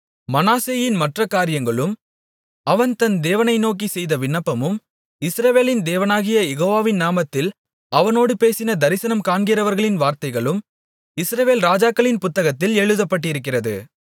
மனாசேயின் மற்ற காரியங்களும் அவன் தன் தேவனை நோக்கிச் செய்த விண்ணப்பமும் இஸ்ரவேலின் தேவனாகிய யெகோவாவின் நாமத்தில் அவனோடு பேசின தரிசனம் காண்கிறவர்களின் வார்த்தைகளும் இஸ்ரவேல் ராஜாக்களின் புத்தகத்தில் எழுதப்பட்டிருக்கிறது